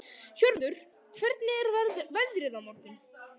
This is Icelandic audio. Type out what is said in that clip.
Hörður, hvernig er veðrið á morgun?